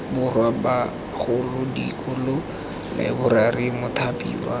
borwa bagolo dikolo laeborari mothapiwa